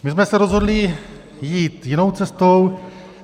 My jsme se rozhodli jít jinou cestou.